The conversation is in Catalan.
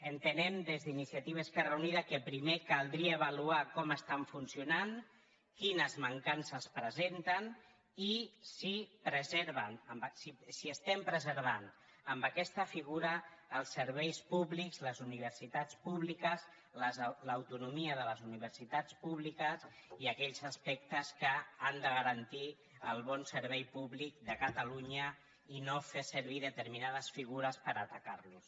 entenem des d’iniciativa esquerra unida que primer caldria avaluar com estan funcionant quines mancances presenten i si preserven si estem preservant amb aquesta figura els serveis públics les universitats públiques l’autonomia de les universitats públiques i aquells aspectes que han de garantir el bon servei públic de catalunya i no fer servir determinades figures per atacar los